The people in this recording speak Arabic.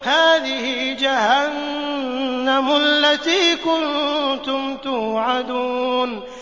هَٰذِهِ جَهَنَّمُ الَّتِي كُنتُمْ تُوعَدُونَ